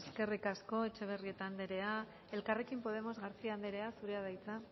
esker eskerrik asko etxebarrieta andrea elkarrekin podemos garcía andrea zurea da hitza